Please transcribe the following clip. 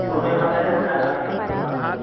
ತುಗೊಂಡ ಹೋಗಿ ಮತ್ ಅಲ್ಲೇ ಹೋಗಿ ಅಂಗಡಿಗೆ ಹಚ್ಚುದ್ ಮತ್.